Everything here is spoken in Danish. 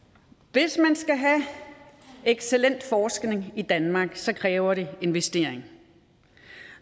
hvis man skal have excellent forskning i danmark kræver det investeringer